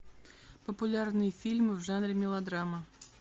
популярные фильмы в жанре мелодрама